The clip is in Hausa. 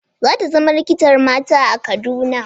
Za ta zama likitar mata a Kaduna?